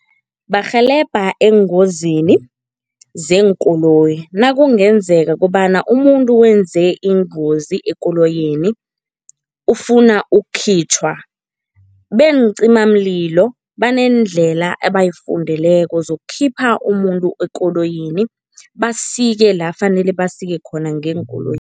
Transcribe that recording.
Barhelebha eengozini zeenkoloyi. Nakungenzeka kobana umuntu wenze ingozi ekoloyini, ufuna ukukhitjhwa, beencimamlilo baneendlela ebayifundeleko zokukhipha umuntu ekoloyini, basike la fanele basike khona